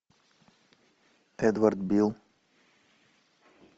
эдвард бил